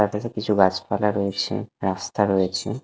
তারপাশে কিছু গাছ পালা রয়েছে রাস্তা রয়েছে ।